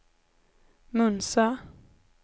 Munsö